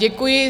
Děkuji.